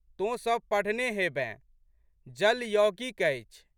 तोँ सब पढ़ने हेबेँ। जल यौगिक अछि।